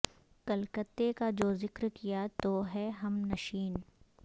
کلکتے کا جو ذکر کیا تو ہے ہم نشین